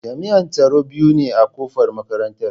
Jami'an tsaro biyu ne a kofar makarantara.